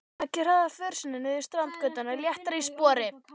Beggi hraðar för sinni niður Strandgötuna léttari í spori.